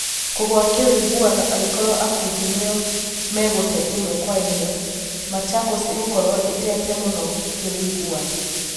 Kũgũa kĩwĩiguano angĩkorwo Akundi nĩo megũte ĩmwe kwa ĩmwe, Machakos ĩgũkorwo ĩtete mũno kĩwĩiguano .